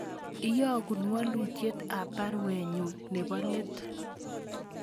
Iyogun walutyet ab baruenyun nebo let